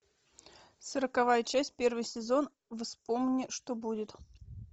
сороковая часть первый сезон вспомни что будет